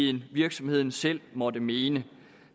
end virksomheden selv måtte mene